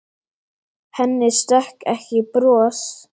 Henni stökk ekki bros.